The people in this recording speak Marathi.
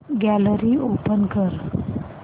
गॅलरी ओपन कर